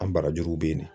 An barajuru bɛ ye